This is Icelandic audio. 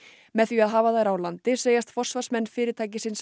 með því að hafa þær á landi segjast forsvarsmenn fyrirtækisins